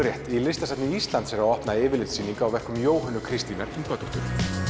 rétt í Listasafni Íslands er að opna yfirlitssýning á verkum Jóhönnu Kristína Ingvadóttur